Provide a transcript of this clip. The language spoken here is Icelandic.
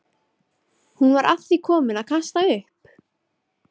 Hún var að því komin að kasta upp.